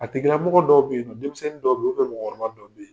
A tigilamɔgɔ dɔw be yennɔ, denmisɛnni dɔw be ye mɔgɔkɔrɔba dɔw ye